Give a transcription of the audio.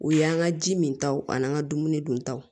U y'an ka ji min taw ani an ka dumuni duntaw